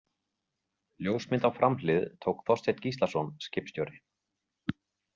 Ljósmynd á framhlið tók Þorsteinn Gíslason, skipstjóri.